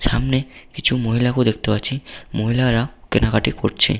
সামনে কিছু মহিলাকেও দেখতে পাচ্ছি মহিলারা কেনাকাটি করছে ।